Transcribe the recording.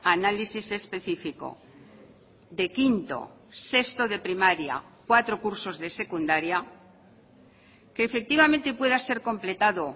análisis específico de quinto sexto de primaria cuatro cursos de secundaria que efectivamente pueda ser completado